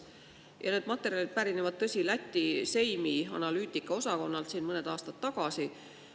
Ja need materjalid pärinevad, tõsi, Läti Seimi analüütikaosakonnalt siin mõned aastad tagasi.